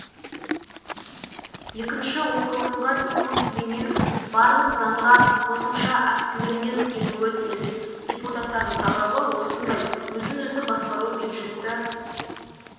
екінші оқылымға тимур сүлейменов барлық заңға қосымша актілермен келуі тиіс депуттатардың талабы осындай өзін-өзі бақсару бюджетті